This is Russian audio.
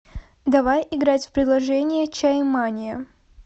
давай играть в приложение чаемания